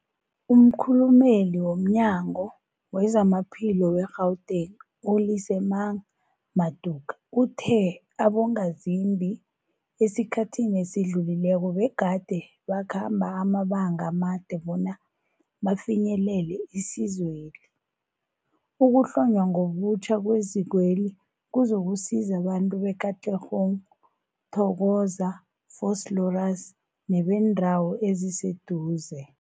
Umkhulumeli womNyango weZamaphilo we-Gauteng, u-Lesemang Matuka uthe abongazimbi esikhathini esidlulileko begade bakhamba amabanga amade bona bafinyelele isizweli. Ukuhlonywa ngobutjha kwezikweli kuzokusiza abantu be-Katlehong, Thokoza, Vosloorus nebeendawo eziseduze.